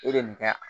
E bɛ nin kɛ